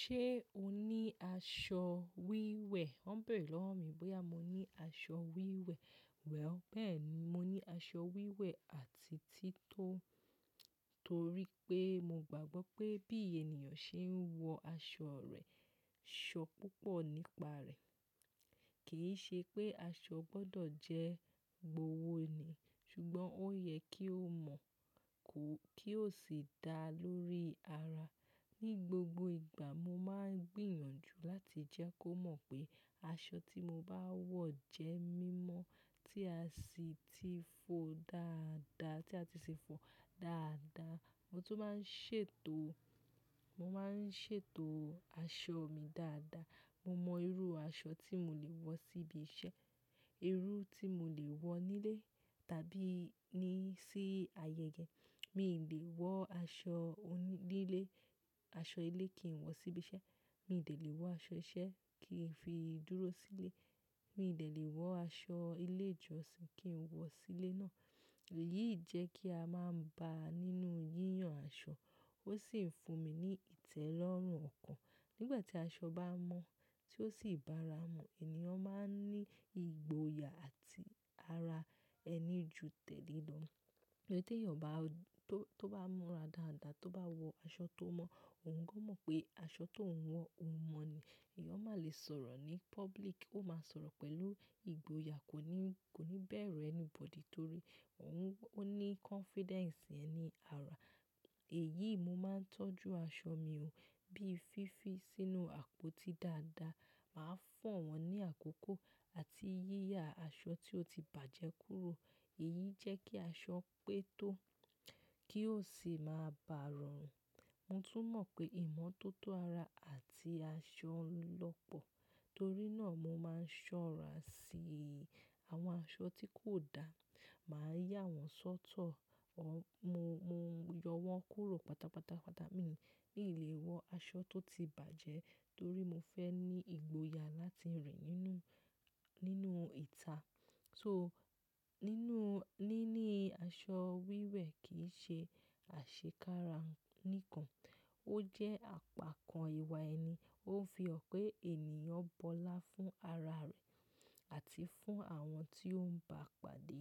Ṣé o ní aṣọ wíwẹ̀? Wọ́n bẹ̀rẹ̀ lọ́wọ́ mi bóyá mo ní aṣọ wíwẹ̀. Well, bẹ́ẹ̀ ni, mo ní aṣọ wíwẹ̀ àti títọ́, torí pé mo gbàgbọ́ pé bí ènìyàn ṣe ń wọ aṣọ rẹ̀, ṣọ púpọ̀ nípa rẹ̀. Kì í ṣe pé aṣọ gbọdọ̀ jẹ́ gbówó ni, ṣùgbọ́n ó yẹ kí ó mọ̀ kó, kí ó sì dá lórí ara. Ni gbogbo ìgbà, mo máa ń gbìyànjú láti jẹ́ kó mọ̀ pé aṣọ tí mo bá wọ̀ jẹ́ mímọ́ tí a sì ti fọ dáadáa, tí a ti ṣe fọ dáadáa. Mo tún máa ń ṣètò, mo máa ń ṣètò aṣọ mi dáadáa. Mo mọ irú aṣọ tí mo lè wọ sí bi iṣẹ́, irú tí mo lè wọ nílé tàbí ní sí ayẹyẹ. Mi lè wọ aṣọ oní-- nílé, aṣọ ilé kì í wọ sí ibi iṣẹ́. Mi de lè wọ aṣọ iṣẹ́ kí n fi dúró sílé. Mi ò lè wọ aṣọ ilé ìjọsìn kí n wọ sílé náà. Èyí jẹ́ kí a máa ń ba nínú yíyan aṣọ. Ó sì ń fún mi ní ìtẹ́lọ́rùn ọkàn. Nígbà tí aṣọ bá mọ́ tí ó sì bá ra mú, ènìyàn máa ń ní ìgboyà àti ara ẹni ju tẹ́lìí lọ. Tí ènìyàn bá o-- tó, tó bá múra dáadáa, tó bá wọ aṣọ tó mọ́, òun gan mọ̀ pé aṣọ tó ún wọ o mọ̀ ni. Ẹ̀yàn má lè sọ̀rọ̀ ní public, ó máa sọ̀rọ̀ pẹ̀lú ìgboyà, kò ní, kò ní bẹ̀rù anybody torí òun, ó ní confidence yeni ara. Èyí, mo máa ń tọ́jú aṣọ mi ó, bíi fífi sínú àpótí dáadáa. Màá fọ̀ wọ́n ní àkókò àti yíyá aṣọ tí ó ti bàjẹ́ kúrò. Èyí jẹ́ kí aṣọ pé tó kí ó sì máa bà rọrùn. Mo tún mọ̀ pé ìmọ́tótó ara àti aṣọ lọ́pọ̀. Torí náà, mo máa ń ṣọ́ra sí àwọn aṣọ tí kò dá. Màá yà wọ́n sọ́tọ̀. Mo, mo yọ wọ́n kúrò pátápátá. Mi n lè wọ aṣọ tó ti bàjẹ́ torí mo fẹ́ ní ìgboyà láti rìn nínú, nínú ìta. So nínú, níní aṣọ wíwẹ̀ kì í ṣe àṣekára nìkan, ó jẹ́ àpakan ìwà ẹni. Ó ń fi hàn pé ènìyàn bọlá fún ara rẹ̀ àti fún àwọn tí ó ń ba pàdé.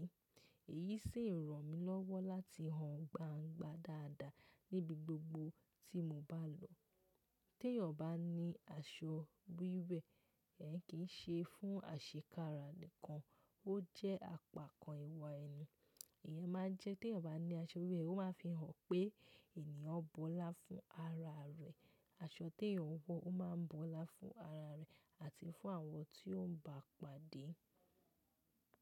Èyí sì ń ràn mí lọ́wọ́ láti hàn gbangba dáadáa níbi gbogbo tí mo bá lọ. Te ènìyàn bá ní aṣọ wíwẹ̀, ẹ́n kì í ṣe fún àṣekára nìkan, ó jẹ́ àpakan ìwà ẹni. Ìyẹn máa ń jẹ́ te ènìyàn bá ní aṣọ wíwẹ̀, ó máa ń fi hàn pé ènìyàn bọ́lá fún ara rẹ̀. Aṣọ tí ènìyàn wọ, ó máa ń bọ́lá fún ara rẹ̀ àti fún àwọn tí ó ń ba pàdé.